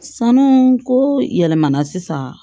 Sanu ko yɛlɛmana sisan